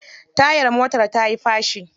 Tayar motar tayi fashi.